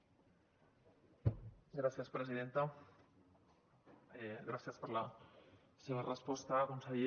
gràcies per la seva resposta conseller